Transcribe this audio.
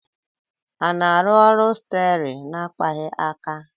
A na-arụ ọrụ steer na akpaghị aka